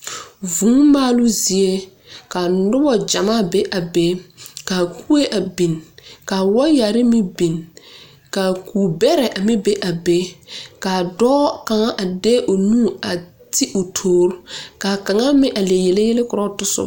Vũũ maaluu zie ka nuba yaga be a be ka kuɛ a beng ka waayeri meng a beng ka kubera a meng be a be kaa doɔ kang a de l nu a te ɔ toore ka kang meng a le yeleyɛlɛ kuro ɔ tosuba.